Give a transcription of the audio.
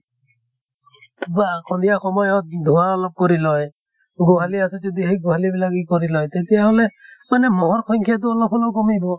বা সন্ধিয়া সময়ত ধুঁৱা অলপ কৰি লয়, গোহালী আছে যদি সেই গোহালী বিলাক ই কৰি লয় তেতিয়া হʼলে মানে মহৰ সংখ্য়াতো অলপ হলেও কমিব।